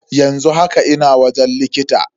Yanzu haka ina wajen likita.